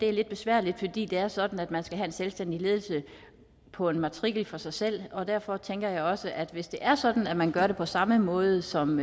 er lidt besværligt fordi det er sådan at man skal have en selvstændig ledelse på en matrikel for sig selv og derfor tænker jeg også at hvis det er sådan at man gør det på samme måde som